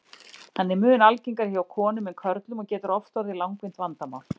Hann er mun algengari hjá konum en körlum og getur oft orðið langvinnt vandamál.